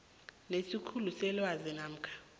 lesikhulu selwazi namkha